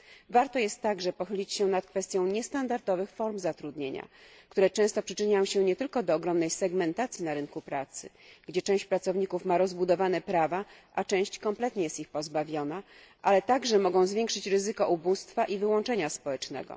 Warto także pochylić się nad kwestią niestandardowych form zatrudnienia, które często przyczyniają się nie tylko do ogromnej segmentacji na rynku pracy gdzie część pracowników ma rozbudowane prawa, a część kompletnie jest ich pozbawiona ale także mogą zwiększyć ryzyko ubóstwa i wyłączenia społecznego.